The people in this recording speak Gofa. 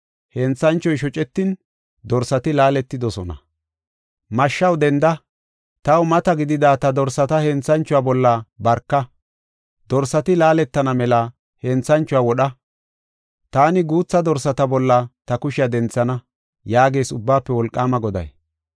“Mashshaw denda, taw mata gidida ta dorsata henthanchuwa bolla barka! Dorsati laaletana mela henthanchuwa wodha. Taani guutha dorsata bolla ta kushiya denthana” yaagees Ubbaafe Wolqaama Goday.